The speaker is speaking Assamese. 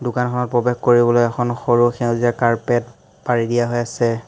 দোকানখনত প্ৰৱেশ কৰিবলৈ এখন সৰু সেউজীয়া কাৰ্পেট পাৰি দিয়া হৈ আছে।